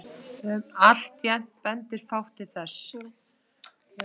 Alltént bendir fátt til þess.